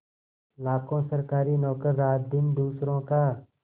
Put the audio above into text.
लाखों सरकारी नौकर रातदिन दूसरों का